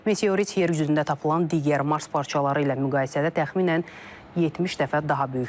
Meteorit yer üzündə tapılan digər Mars parçaları ilə müqayisədə təxminən 70 dəfə daha böyükdür.